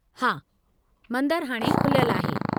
हा, मंदरु हाणे खुलियलु आहे।